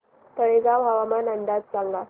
तळेगाव हवामान अंदाज सांगा